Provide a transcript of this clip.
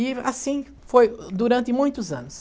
E assim foi durante muitos anos.